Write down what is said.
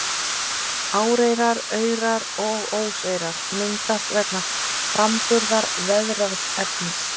Áreyrar, aurar og óseyrar myndast vegna framburðar veðraðs efnis.